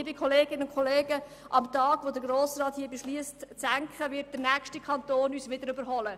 Am Tag, an dem der Grosse Rat eine Senkung beschliesst, wird der nächste Kanton uns überholen.